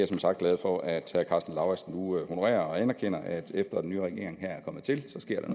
som sagt glad for at herre karsten lauritzen nu honorer og anerkender at der efter at den nye regering er kommet til